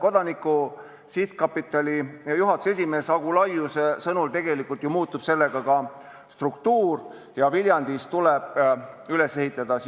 Kodanikuühiskonna Sihtkapitali juhatuse esimehe Agu Laiuse sõnul muutub tegelikult ju sellega ka struktuur, Viljandis tuleb üles ehitada